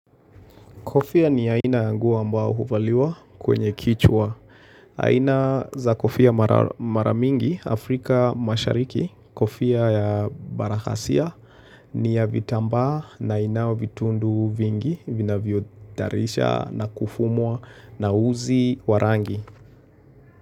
Kofia ni aina ya nguo ambao huvaliwa kwenye kichwa. Aina za kofia mara mingi Afrika mashariki. Kofia ya Barakasia ni ya vitambaa na inao vitundu vingi vina vyotarisha na kufumwa na uzi warangi.